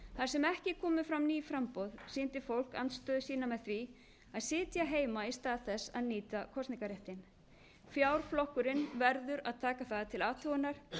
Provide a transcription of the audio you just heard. þar sem ekki komu fram ný framboð sýndi fólk andstöðu sína með því að sitja heima í stað þess að nýta kosningarréttinn fjárflokkurinn verður að taka það til athugunar